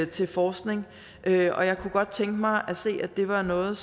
til forskning og jeg kunne godt tænke mig at se at det var noget